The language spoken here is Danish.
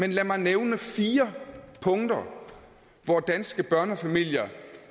en lad mig nævne fire punkter hvor danske børnefamilier